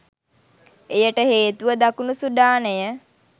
එයට හේතුව දකුණු සුඩානය